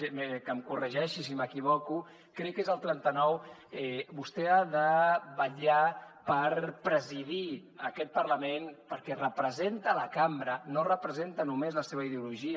bé que em corregeixi si m’equivoco crec que és el trenta nou vostè ha de vetllar per presidir aquest parlament perquè representa la cambra no representa només la seva ideologia